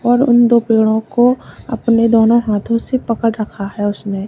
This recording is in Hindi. और उन दो पेड़ों को अपने दोनों हाथों से पकड़ रखा है उसने।